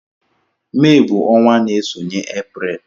Mee bú ọnwa n'esonye April.